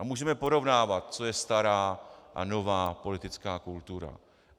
A můžeme porovnávat, co je stará a nová politická kultura.